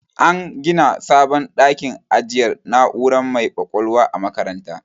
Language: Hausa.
An gina sabon dakin ajiyar na'ura mai ƙwaƙwalwa a makarantar.